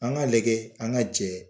An ga lajɛ an ga jɛ